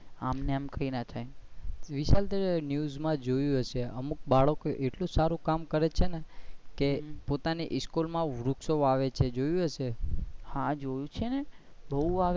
આમ ને આમ કઈ ના થાય વિશાલ તે news` માં જોયુ હશે ને અમુક બાળકો એટલું સારું કામ કરે છે ને પોતાની સ્કૂલ માં વૃક્ષો વાવે છે. જોયુ હશે